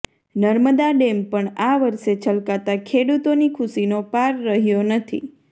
Narmada dam પણ આ વર્ષે છલકાતાં ખેડૂતોની ખુશીનો પાર રહ્યો નથી